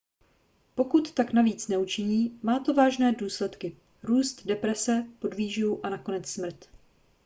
pokud tak navíc neučiní má to vážné následky růst deprese podvýživu a nakonec smrt